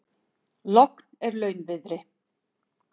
Logn er launviðri.